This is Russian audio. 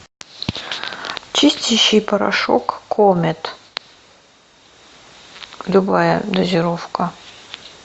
чистящий порошок комет любая дозировка